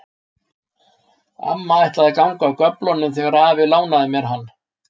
Amma ætlaði að ganga af göflunum þegar afi lánaði mér hann.